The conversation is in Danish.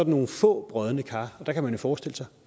nogle små brodne kar og der kan man jo forestille sig